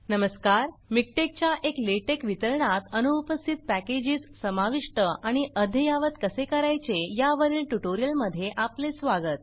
नमस्कार मिकटेक च्या एक लेटेक वितरणात अनुपस्थित पॅकेजेस समाविष्ट आणि अद्ययावत कसे करायचे या वरील ट्यूटोरियल मध्ये आपले स्वागत